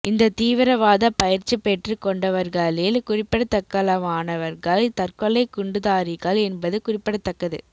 இந்த தீவிரவாத பயிற்சி பெற்றுக் கொண்டவர்களில் குறிப்பிடத்தக்களவானவர்கள் தற்கொலைக் குண்டுதாரிகள் என்பது குறிப்பிடத்தக்கது